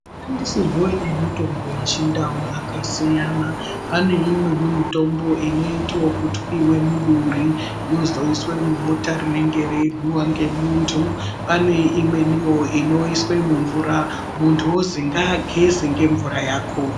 Mashandisirwe emutombo wechindau akasiyana pane imweni mitombo inoite ekutwiwa muduri yozoiswa mubota rinenge reihyiwa ngemuntu pane imweniwo inoiswe mumvura muntu ozi ngaageze ngemvura yakona.